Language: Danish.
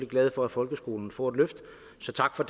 glade for at folkeskolen får et løft så tak for